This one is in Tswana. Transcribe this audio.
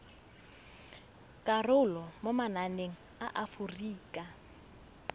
karolo mo mananeng a aforika